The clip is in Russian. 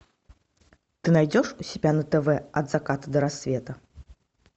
ты найдешь у себя на тв от заката до рассвета